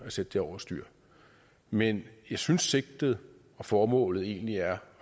sætte den over styr men jeg synes sigtet og formålet egentlig er